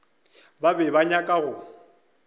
ba be ba nyaka go